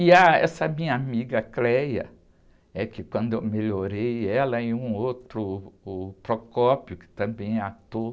E, ah, essa minha amiga, é que quando eu melhorei ela e um outro, o, que também é ator,